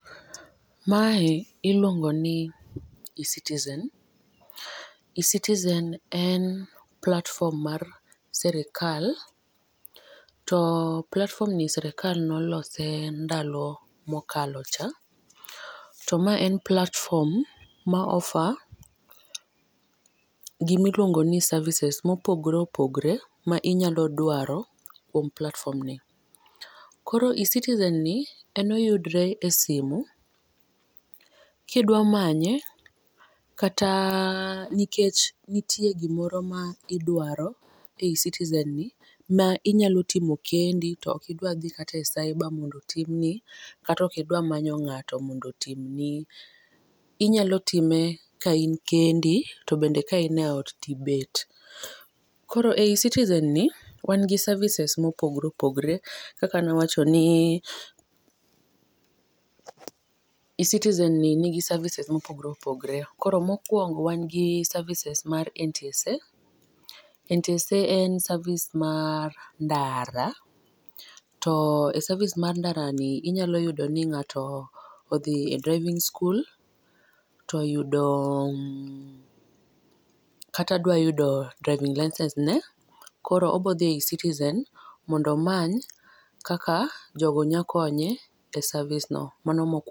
Ma iluongo ni ecitizen, ecitizen en platform mar sirkal to platform ni sirkal ne olose e ndalo mokalo cha to ma en platform ma offer gi ma iluongo ni services ma opogore opgore mi nyalo dwaro e kuom platform ni. Koro e citizen ni en oyudore e simo kata ki idwa manye kata nikech nitie gi moro ma idwaro e ecitizen ni mi inya timo kendi to ok idwa dhi e cyber mondo otim ni kata ok idwa manyo ng'ato mondo otim, inya time ka in kendi to bende ka in e ot ibet. Koro e ecitizen ni wan gi services ma opogore opogore kaka ne wacho ni ecitizen ni ni gi services ma opogore opgore. Koro mokuongo wan gi services mar ntsa, ntsa en service mar ndara ,to e service mar ndara ni inyalo yudo ni ng'ato odhiye e driving skul to oyudo kata dwa yudo drivng license ne koro odhi e ecitizen mondo omany kaka jogo nya konye e service no, mano mokuongo.